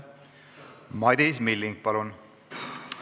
Madis Milling, palun!